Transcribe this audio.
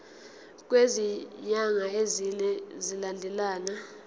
kwezinyanga ezine zilandelana